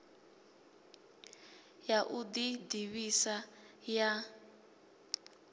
ya u ḓi ḓivhisa ya